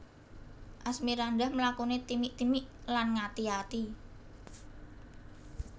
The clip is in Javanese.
Asmirandah mlakune timik timik lan ngati ati